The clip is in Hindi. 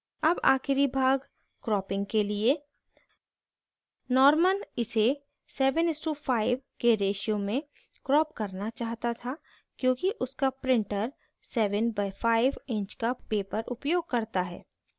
अब आखिरी भाग cropping के लिए norman इसे 7:5 के ratio में crop करना चाहता था क्योंकि उसका printer 7/5 inch का paper उपयोग करता है